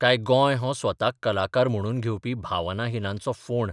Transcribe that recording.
काय गोंय हो स्वताक कलाकार म्हणून घेवपी भावनाहिनांचो फोंड?